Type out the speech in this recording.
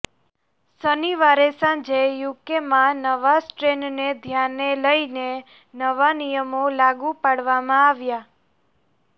શનિવારે સાંજે યુકેમાં નવા સ્ટ્રેનને ધ્યાને લઈને નવા નિયમો લાગુ પાડવામાં આવ્યા